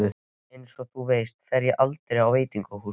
Einsog þú veist fer ég aldrei á veitingahús.